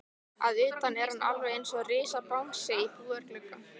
Að utan er hann alveg einsog risabangsi í búðarglugga.